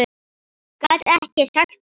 Gat ekki sagt það.